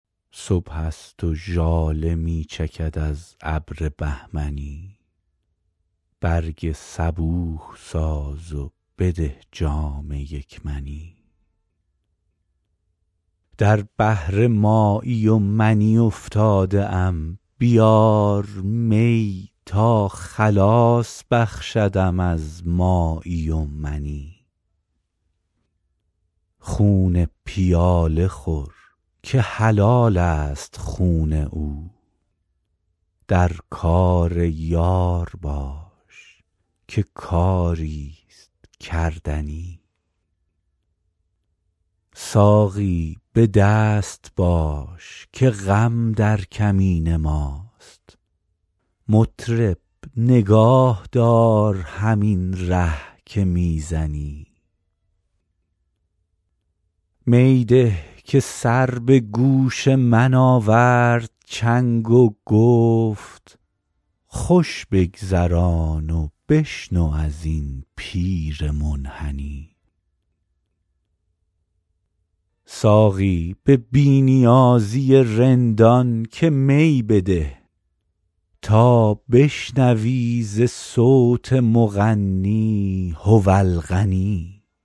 صبح است و ژاله می چکد از ابر بهمنی برگ صبوح ساز و بده جام یک منی در بحر مایی و منی افتاده ام بیار می تا خلاص بخشدم از مایی و منی خون پیاله خور که حلال است خون او در کار یار باش که کاری ست کردنی ساقی به دست باش که غم در کمین ماست مطرب نگاه دار همین ره که می زنی می ده که سر به گوش من آورد چنگ و گفت خوش بگذران و بشنو از این پیر منحنی ساقی به بی نیازی رندان که می بده تا بشنوی ز صوت مغنی هو الغنی